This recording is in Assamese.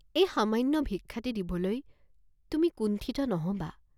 এই সামান্য ভিক্ষাটি দিবলৈ তুমি কুন্ঠিত নহবাঁ।